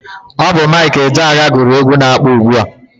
Ọ bụ Mike Ejeagha gụrụ egwu na-akpọ ugbua.